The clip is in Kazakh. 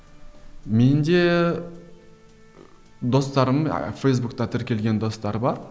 менде достарым а фейсбукте тіркелген достар бар